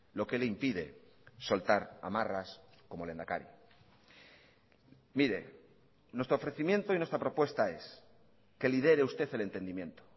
lo que le impide soltar amarras como lehendakari mire nuestro ofrecimiento y nuestra propuesta es que lidere usted el entendimiento